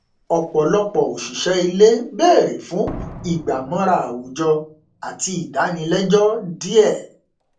ọpọlọpọ òṣìṣẹ ilé bèrè fún ìgbàmọra àwùjọ àti ìdánilẹjọ díẹ